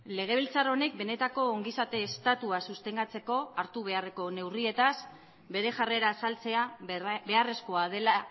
legebiltzar honek benetako ongizate estatua sostengatzeko hartu beharreko neurrietaz bere jarrera azaltzea beharrezkoa dela